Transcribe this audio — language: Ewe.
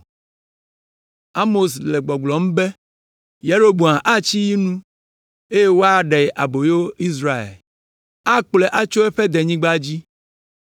Amos le gbɔgblɔm be, “ ‘Yeroboam atsi yi nu eye woaɖe aboyo Israel, akplɔe tso eƒe denyigba dzi.’ ”